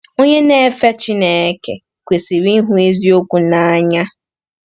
Onye na-efe Chineke kwesịrị ịhụ eziokwu n’anya.